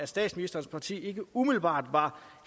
statsministerens parti ikke umiddelbart er